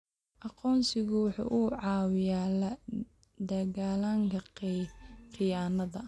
Aqoonsigu waxa uu caawiyaa la dagaallanka khiyaanada.